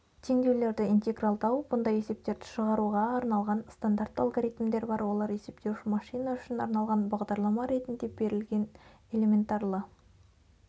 теңдеулерді интегралдау бұндай есептерді шығаруға арналған стандартты алгоритмдер бар олар есептеуіш машина үшін арналған бағдарлама ретінде берілген элементарлы